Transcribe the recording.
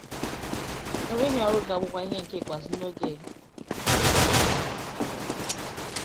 Enweghị ọrụ ga - abụkwa ihe nke ikpeazu n’oge ọchịchị Kraịst.